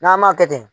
N'an m'a kɛ ten